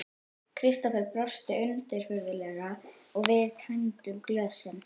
Kristófer brosti undirfurðulega og við tæmdum glösin.